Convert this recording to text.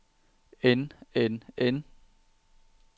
end end end